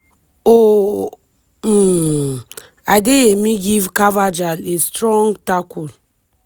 oh um adeyemi give carvajal a strong tackle.